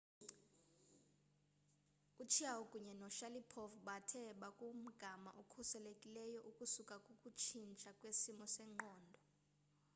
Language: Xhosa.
uchiao kunye noshalipov bathe bakumgama okhuselekileyo ukusuka kukutshintsha kwesimo sengqondo